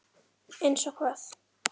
Brynja: Eins og hvað?